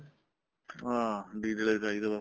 ਹਾਂ ਡੀਜਲ ਹੀ ਚਾਹੀਦਾ ਬੱਸ